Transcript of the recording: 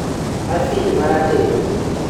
afid marateng'